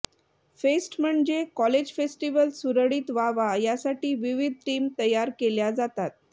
fest म्हणजे college festival सुरळीत व्हावा यासाठी विविध टीम तयार केल्या जातात